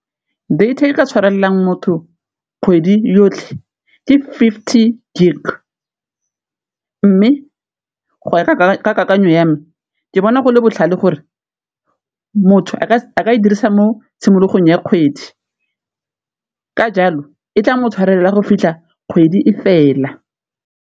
Data e ka tshwarelwang motho kgwedi yotlhe di fifty gig, mme go ya ka kakanyo ya me ke bona go go le botlhale gore motho a ka e dirisa mo tshimologong ya kgwedi, ka jalo e tla motho tshwarelela go fitlha kgwedi e fela.